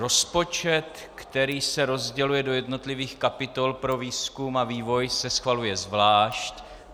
Rozpočet, který se rozděluje do jednotlivých kapitol pro výzkum a vývoj, se schvaluje zvlášť.